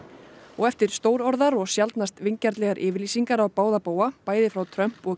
og eftir stórorðar og sjaldnast vingjarnlegar yfirlýsingar á báða bóga bæði frá Trump og